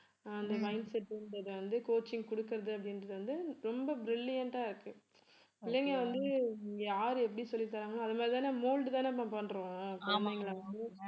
அந்த mindset ன்றதை வந்து coaching கொடுக்கிறது அப்படின்றது வந்து ரொம்ப brilliant ஆ இருக்கு பிள்ளைங்க வந்து இங்க யாரு எப்படி சொல்லித்தராங்களோ அது மாதிரி தானே mold தானப்பா பண்றோம்